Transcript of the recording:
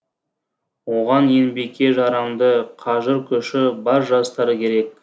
оған еңбекке жарамды қажыр күші бар жастар керек